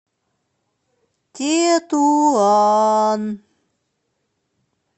тетуан